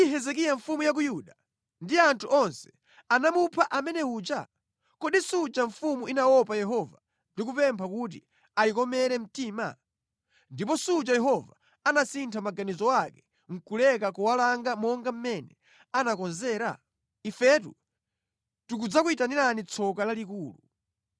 Kodi Hezekiya mfumu ya ku Yuda ndi anthu onse anamupha amene uja? Kodi suja mfumu inaopa Yehova ndi kupempha kuti ayikomere mtima? Ndipo suja Yehova anasintha maganizo ake nʼkuleka kuwalanga monga mʼmene anakonzera? Ifetu tikudziyitanira tsoka lalikulu!”